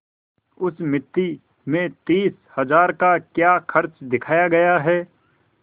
उस मिती में तीस हजार का क्या खर्च दिखाया गया है